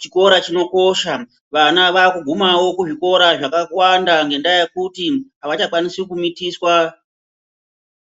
chikora chinokosha vana vakugumao kune zvikora zvakawanda ngekuti avachakwanisi kumitiswa.